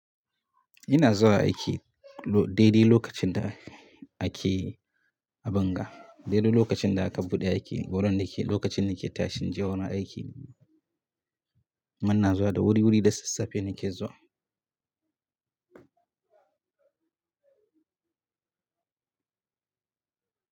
Ina zuwa aiki daidai lokacin da ake a bunga, daidai lokacin da aka buɗe aiki. Waɗanda lokacin na ke tashi in je gurin aiki. Kuma ina zuwa da wuri-wuri da sassafe nake zuwa.